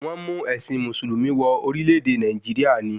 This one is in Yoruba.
Wọ́n mú ẹ̀sìn mùsùlùmí wọ orílẹ̀-èdè Nàìjíríà ni